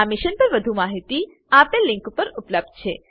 આ મિશન પર વધુ જાણકારી આપેલ લીંક પર ઉપબ્ધ છે